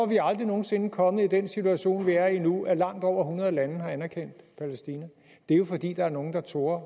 vi aldrig nogen sinde kommet i den situation vi er i nu at langt over hundrede lande har anerkendt palæstina det er jo fordi der var nogle der turde